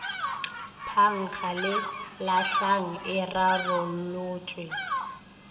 phankga le lahlang e rarolotšwe